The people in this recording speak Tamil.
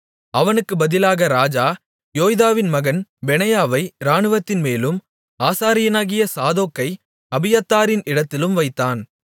அவனுக்குப் பதிலாக ராஜா யோய்தாவின் மகன் பெனாயாவை இராணுவத்தின்மேலும் ஆசாரியனாகிய சாதோக்கை அபியத்தாரின் இடத்திலும் வைத்தான்